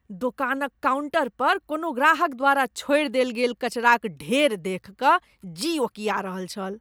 दोकानक काउन्टर पर कोनो ग्राहक द्वारा छोड़ि देल गेल कचराक ढेर देखि कऽ जी ओकीआ रहल छल।